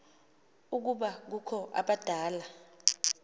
ukuba kukho abadala